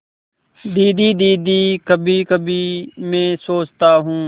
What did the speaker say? दीदी दीदी कभीकभी मैं सोचता हूँ